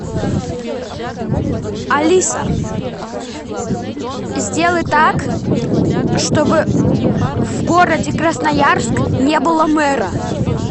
алиса сделай так чтобы в городе красноярск не было мэра